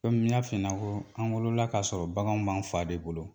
Komi ni n y'a f'i ɲɛna ko an wolola kasɔrɔ baganw b'an fa de bolo.